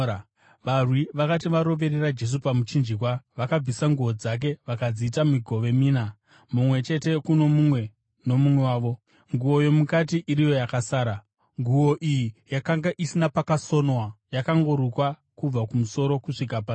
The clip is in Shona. Varwi vakati varoverera Jesu pamuchinjikwa, vakabvisa nguo dzake, vakadziita migove mina, mumwe chete kuno mumwe nomumwe wavo, nguo yomukati iriyo yakasara. Nguo iyi yakanga isina pakasonwa, yakangorukwa kubva kumusoro kusvika pasi.